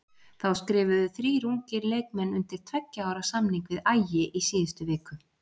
Þá skrifuðu þrír ungir leikmenn undir tveggja ára samning við Ægi í síðustu viku.